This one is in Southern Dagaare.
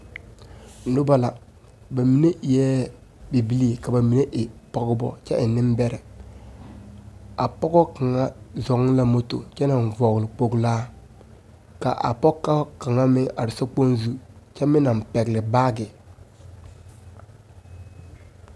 Noba la, ba mine eɛ bibilii ka ba mine e pɔgebɔ kyɛ e nembɛrɛ. A pɔgɔ kaŋa zɔŋ la moto kyɛ naŋ vɔgle kpoglaa, ka a pɔgɔ kaŋa meŋ are sokpoŋ zu kyɛ meŋ naŋ pɛgele baage.